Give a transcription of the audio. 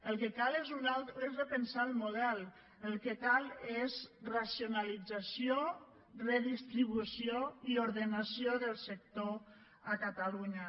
el que cal és repensar el model el que cal és racionalització redistribució i ordenació del sector a catalunya